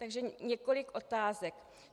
Takže několik otázek: